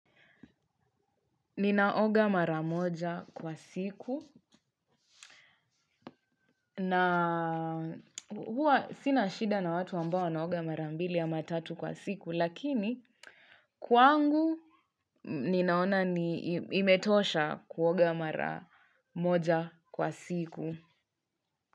Ninaoga maramoja kwa siku na huwa sina shida na watu ambao wanaoga marambili ama tatu kwa siku lakini kwangu ninaona imetosha kuoga maramoja kwa siku.